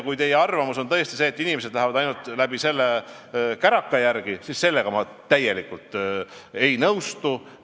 Kui teie arvamus on tõesti see, et inimesed lähevad sellega ainult käraka järele, siis ma sellega ei nõustu.